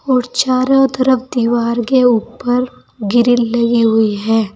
और चारों तरफ दीवार के ऊपर ग्रिल लगी हुए है।